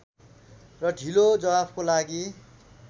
र ढिलो जवाफको लागि